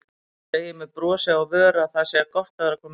Segir með brosi á vör að það sé gott að vera komin heim.